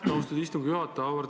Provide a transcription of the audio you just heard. Aitäh, austatud istungi juhataja!